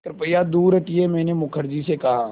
कृपया दूर हटिये मैंने मुखर्जी से कहा